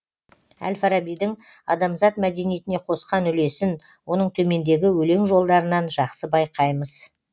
әл фарабидің адамзат мәдениетіне қосқан үлесін оның төмендегі өлең жолдарынан жақсы байқаймыз